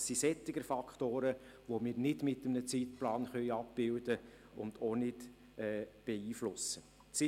Es sind solche Faktoren, die wir nicht mit einem Zeitplan abbilden und auch nicht beeinflussen können.